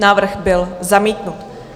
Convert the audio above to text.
Návrh byl zamítnut.